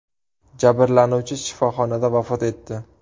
Jabrlanuvchi shifoxonada vafot etdi.